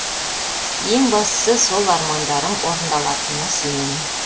ең бастысы сол армандарым орындалатынына сенемін